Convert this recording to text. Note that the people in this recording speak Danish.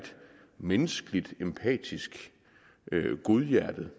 menneskelig empatisk og godhjertet